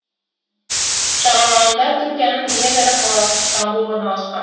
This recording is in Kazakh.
жағалауында түркияның ең ірі қаласы стамбұл орналасқан